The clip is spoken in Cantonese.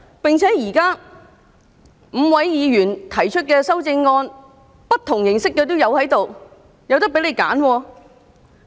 而且，現在5位議員所提出的修正案，種種不同形式都有，你們大可以選擇。